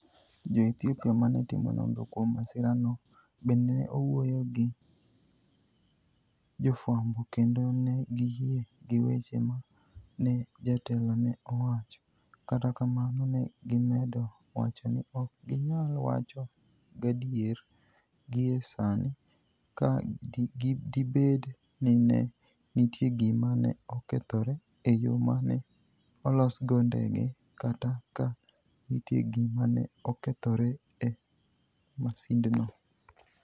Jo Ethiopia ma ne timo nonro kuom masira no, bende ne owuoyo gi jofwambo kendo ne giyie gi weche ma ne jatelo ne owacho, kata kamano ne gimedo wacho ni ok ginyal wacho gadier gie sani ka dibed ni ne nitie gima ne okethore e yo ma ne olosgo ndege kata ka nitie gima ne okethore e masindno.